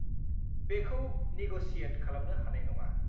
बेखौ निग'शियेट खालामनो हानाय नङा।